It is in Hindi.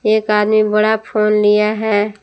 एक आदमी बड़ा फोन लिया है।